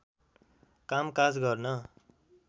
कामकाज गर्न